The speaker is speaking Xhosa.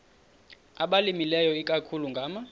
abalimileyo ikakhulu ngama